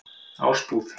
Ásbúð